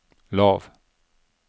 lav